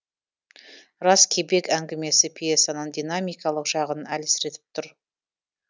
рас кебек әңгімесі пьесаның динамикалық жағын әлсіретіп тұр